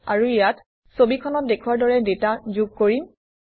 আৰু ইয়াত ছবিখনত দেখুওৱাৰ দৰে ডাটা যোগ কৰিম